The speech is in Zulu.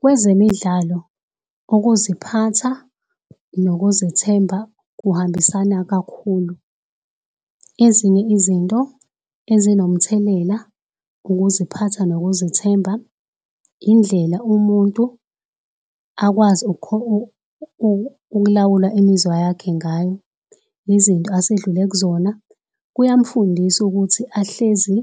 Kwezemidlalo, ukuziphatha nokuzethemba kuhambisana kakhulu. Ezinye izinto ezinomthelela, ukuziphatha nokuzethemba, indlela umuntu akwazi ukulawula imizwa yakhe ngayo, izinto asedlule kuzona, kuyamufundisa ukuthi ahlezi